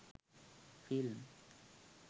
film